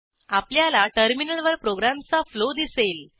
आपल्याला टर्मिनलवर प्रोग्रॅमचा फ्लो दिसेल